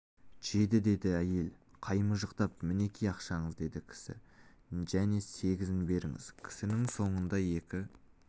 жеді деді әйел қаймыжықтап мінеки ақшаңыз деді кісі және сегізін беріңіз кісінің соңында екі